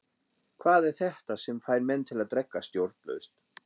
Hvað er þetta sem fær menn til að drekka stjórnlaust?